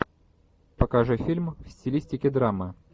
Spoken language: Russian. покажи фильм в стилистике драмы